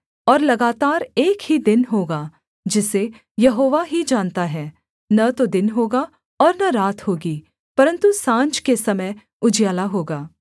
और लगातार एक ही दिन होगा जिसे यहोवा ही जानता है न तो दिन होगा और न रात होगी परन्तु साँझ के समय उजियाला होगा